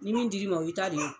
Ni min dir'i ma o y'i ta de o.